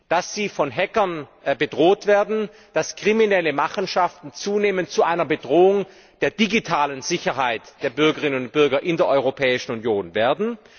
dass sie von Hackern bedroht werden, dass kriminelle Machenschaften zunehmend zu einer Bedrohung der digitalen Sicherheit der Bürgerinnen und Bürger in der Europäischen Union werden.